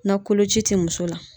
Na koloci te muso la.